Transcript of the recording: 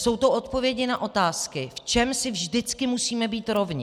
Jsou to odpovědi na otázky: V čem si vždycky musíme být rovni?